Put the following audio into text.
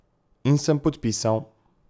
In sem podpisal...